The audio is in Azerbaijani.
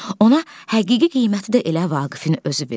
Ona həqiqi qiyməti də elə Vaqifin özü verir.